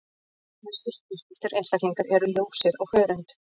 Flestir freknóttir einstaklingar eru ljósir á hörund.